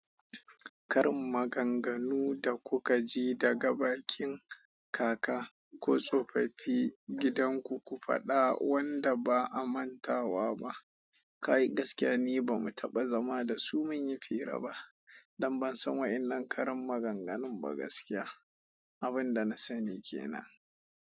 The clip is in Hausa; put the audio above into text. Karin maganganu da kuka ji daga bakin kaka, ko tsofaffi gidan ku, ku faɗa wanda ba a mantawa ba. Kai, gaskiya ni ba mu taɓa zama da su mun yi fira ba, don ban san waƴannan karin maganganun ba gaskiya. Abin da na sani kenan.